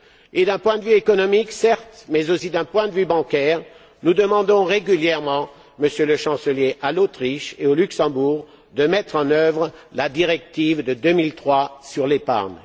Certes, d'un point de vue économique, mais aussi d'un point de vue bancaire, nous demandons régulièrement, Monsieur le Chancelier, à l'Autriche et au Luxembourg, de mettre en œuvre la directive de 2003 sur l'épargne.